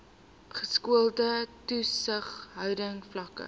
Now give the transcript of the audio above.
geskoolde toesighouding vlakke